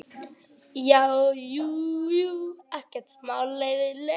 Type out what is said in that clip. Jú, jú, ekkert smá leiðinlegur.